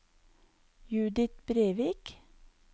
Judith Brevik